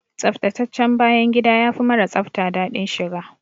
Tsaftataccen bayan gida yafi mara tsafta daɗin shiga.